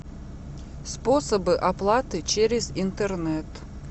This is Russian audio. способы оплаты через интернет